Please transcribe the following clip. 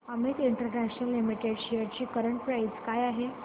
Amit international limited shares ची current price काय आहे